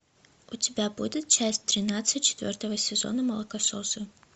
у тебя будет часть тринадцать четвертого сезона молокососы